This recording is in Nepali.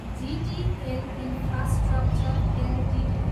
GTL infrastructure Ltd